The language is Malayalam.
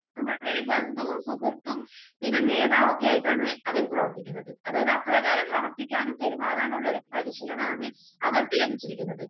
നമ്മൾടെ ഒരു ബന്ധുവും സുഹൃത്തും പിന്നെ നേതാവൊക്കെയായിട്ടാണ് അവര് പ്രവർത്തിക്കുന്നത്. അതായത് അത്രയേറെ പ്രവർത്തിക്കാനും പെരുമാറാനുമുള്ളയൊരു പരിശീലനാണ് അവർക്ക് ലഭിച്ചിരിക്കുന്നത്.